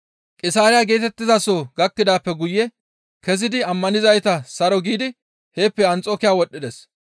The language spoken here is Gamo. Qisaariya geetettizaso gakkidaappe guye kezidi ammanizayta saro giidi heeppe Anxokiya wodhdhides.